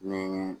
Ni